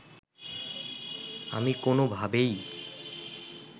আমি কোনোভাবেই